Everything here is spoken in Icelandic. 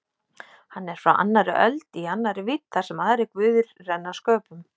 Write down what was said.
Hann er frá annarri öld- í annarri vídd þar sem aðrir guðir renna sköpum.